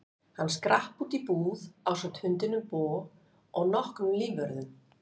Hann skrapp út í búð ásamt hundinum Bo og nokkrum lífvörðum.